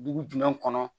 Dugu jumɛn kɔnɔ